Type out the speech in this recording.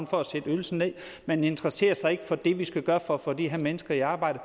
for at sætte ydelsen ned man interesserer sig ikke for det som vi skal gøre for at få de her mennesker i arbejde